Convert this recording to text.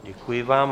Děkuji vám.